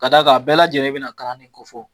Ka d'a kan a bɛɛ lajɛlen bɛna kala de kofɔ